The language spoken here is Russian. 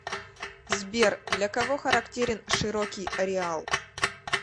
сбер для кого характерен широкий ареал